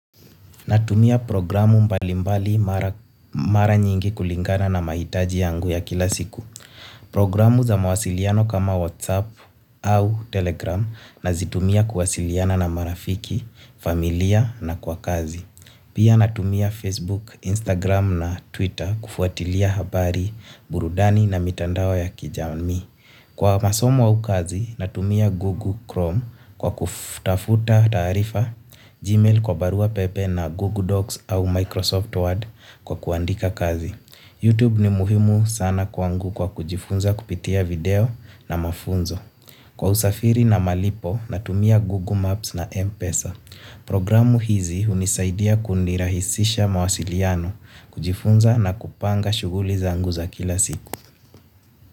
Natumia programu mbalimbali mara nyingi kulingana na mahitaji yangu ya kila siku. Programu za mawasiliano kama WhatsApp au Telegram na zitumia kuwasiliana na marafiki, familia na kwa kazi. Pia natumia Facebook, Instagram na Twitter kufuatilia habari, burudani na mitandao ya kijami. Kwa masomo wa ukazi, natumia Google Chrome kwa kutafuta tarifa, Gmail kwa Barua Pepe na Google Docs au Microsoft Word kwa kuandika kazi. YouTube ni muhimu sana kwangu kwa kujifunza kupitia video na mafunzo. Kwa usafiri na malipo, natumia Google Maps na Mpesa. Programu hizi unisaidia kunirahisisha mawasiliano kujifunza na kupanga shuguli zangu za kila siku.